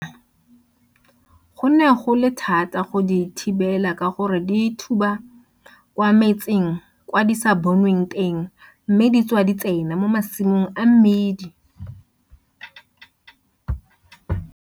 Kwa Bokonebophirima re tshwentshe ke dibokwana go ne go le thata go di thibela ka gore di thuba kwa metseng kwa di sa bonweng teng mme di tswa di tsena mo masimong a mmdidi.